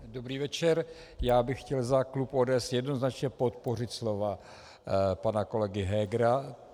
Dobrý večer, já bych chtěl za klub ODS jednoznačně podpořit slova pana kolega Hegera.